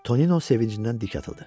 Tonino sevincindən dik atıldı.